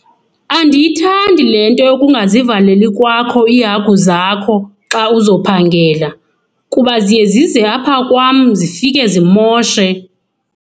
Andiyithandi le nto yokungazivaleli kwakho iihagu zakho xa uzophangela kuba ziye zize apha kwam zifike zimoshe.